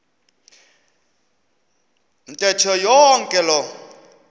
ntetho yonke loo